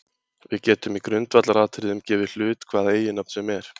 Við getum í grundvallaratriðum gefið hlut hvaða eiginnafn sem er.